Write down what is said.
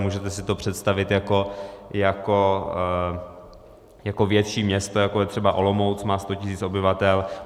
Můžete si to představit jako větší město, jako je třeba Olomouc, má 100 000 obyvatel.